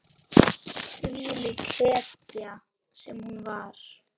Þvílík hetja sem hún var.